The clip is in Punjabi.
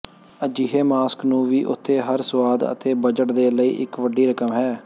ਅਜਿਹੇ ਮਾਸਕ ਨੂੰ ਵੀ ਉਥੇ ਹਰ ਸੁਆਦ ਅਤੇ ਬਜਟ ਦੇ ਲਈ ਇੱਕ ਵੱਡੀ ਰਕਮ ਹੈ